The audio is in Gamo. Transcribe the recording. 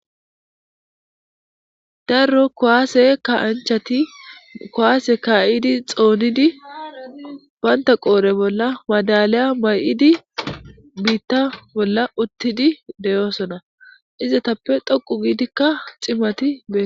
darro kowaase kaanchati kowaase kaa7idi xoonidi baynta qoore bolla maadaliya may7idi biitta bolla uttidi deyoosona izatappe dhoqu giidikka ximati bee